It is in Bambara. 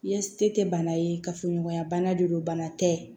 Yase tɛ bana ye kafoɲɔgɔnya bana de don bana tɛ